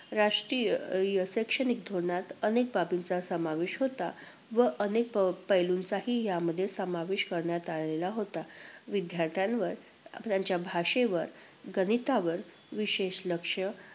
राष्ट्रीय अं शैक्षणिक धोरणात अनेक बाबींचा समावेश होता व अनेक अं पैलूंचाही यामध्ये समावेश करण्यात आलेला होता. विद्यार्थ्यांवर, त्यांच्या भाषेवर, गणितावर विशेष लक्ष